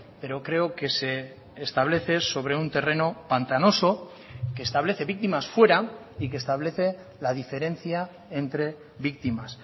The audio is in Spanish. pero creo que se establece sobre un terreno pantanoso que establece víctimas fuera y que establece la diferencia entre víctimas